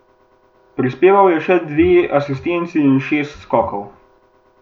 Prispeval je še dve asistenci in šest skokov.